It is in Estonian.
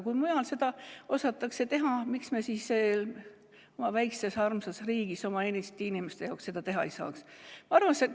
Kui mujal seda osatakse teha, siis miks me oma väikses armsas riigis oma Eesti inimeste jaoks seda teha ei saaks?